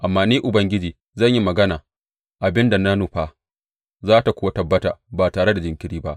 Amma Ni Ubangiji zan yi magana abin da na nufa, za tă kuwa tabbata ba tare da jinkiri ba.